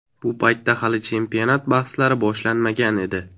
Bu paytda hali chempionat bahslari boshlanmagan edi.